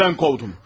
Evimdən qovdum.